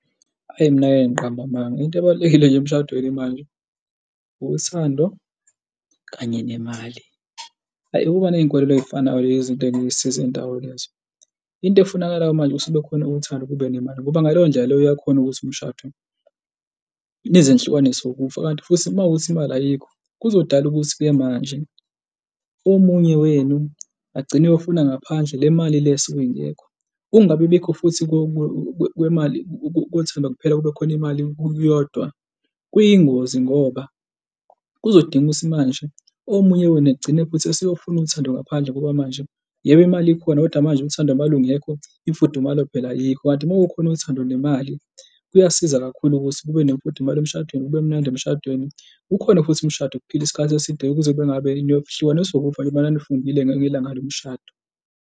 Hhayi, mina angeke, ngiqambe amanga into ebalulekile nje emshadweni imali, uthando kanye nemali. Hhayi ukuba ney'nkolelo ey'fana nalezo izinto ey'ngeke zisisize ndawo lezo. Into efunakalayo manje ukuthi jube khona uthando, kube nemali ngoba ngaleyo ndlela leyo uyakhona ukuthi emshadweni nize nihlukaniswe wukufa. Kanti futhi uma kuwukuthi imali ayikho kuzodala ukuthi-ke manje omunye wenu agcine eyofuna ngaphandle le mali le esuke ingekho. Ukungabibikho futhi kwemali kuthi uma kuphela kube khona imali yodwa kuyingozi ngoba kuzodinga ukuthi manje omunye wenu egcine futhi eseyofuna uthando ngaphandle ngoba manje, yebo, imali ikhona kodwa manje uthando malungekho, imfudumalo phela ayikho. Kanti uma kukhona uthando nemali kuyasiza kakhulu ukuthi kube nemfundumalo emshadweni, kube mnandi emshadweni. Kukhona futhi umshado okuphilwa isikhathi eside kuze kube niyohlukaniswa ukufa njengoba nanifungile ngelanga lomshado.